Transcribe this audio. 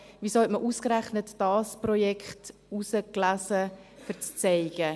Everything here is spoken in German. Wieso hat man ausgerechnet dieses Projekt ausgewählt zum Zeigen?